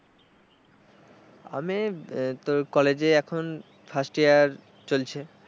আমি তোর কলেজে এখন first year চলছে।